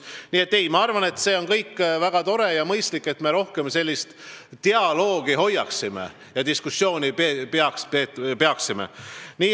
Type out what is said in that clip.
Nii et ma arvan, et see on väga tore ja mõistlik, kui me rohkem sellist dialoogi peame ja diskuteerime.